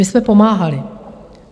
My jsme pomáhali.